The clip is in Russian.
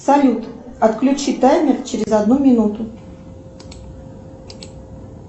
салют отключи таймер через одну минуту